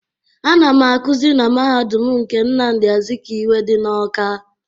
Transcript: Ana m akụzi na mahadum nke Nnamdi Azikiwe dị n'Ọ́ká.